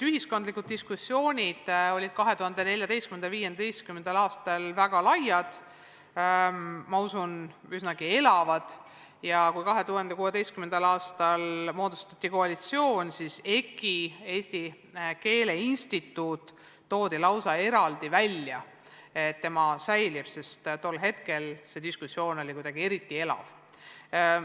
Ühiskondlikud diskussioonid olid 2014. ja 2015. aastal väga laiad, ma usun, et ka üsna elavad, ja kui 2016. aastal moodustati koalitsioon, siis EKI ehk Eesti Keele Instituudi säilimisest räägiti lausa eraldi, sest tol hetkel oli see diskussioon veel eriti elav.